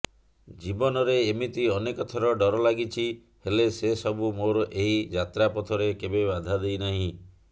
ଜୀବନରେ ଏମିତି ଅନେକଥର ଡର ଲାଗିଛି ହେଲେ ସେ ସବୁ ମୋର ଏହି ଯାତ୍ରପଥରେ କେବେ ବାଧା ଦେଇନାହିଁ